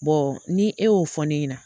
ni e y'o fɔ ne ɲɛna,